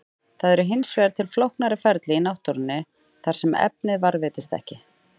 Það eru hins vegar til flóknari ferli í náttúrunni þar sem efnið varðveitist ekki.